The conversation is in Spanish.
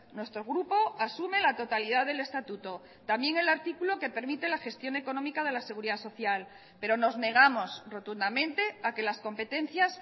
nuestro grupo asume la totalidad del estatuto también el artículo que permite la gestión económica de la seguridad social pero nos negamos rotundamente a que las competencias